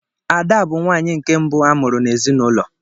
Ada bụ nwanyị nke mbụ a mụrụ n’ezinụlọ